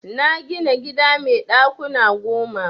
Na gina gida mai ɗakuna goma.